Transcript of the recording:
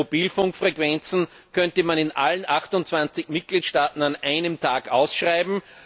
bei Mobilfunkfrequenzen, könnte man in allen 28 Mitgliedstaaten an einem Tag ausschreiben.